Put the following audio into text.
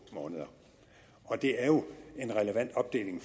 måneder og det er jo en relevant opdeling